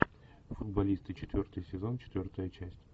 футболисты четвертый сезон четвертая часть